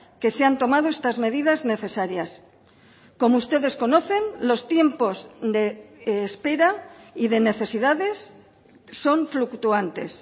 que se han tomado estas medidas necesarias como ustedes conocen los tiempos de espera y de necesidades son fluctuantes